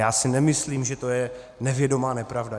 Já si nemyslím, že to je nevědomá nepravda.